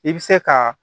I bɛ se ka